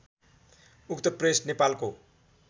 उक्त प्रेस नेपालको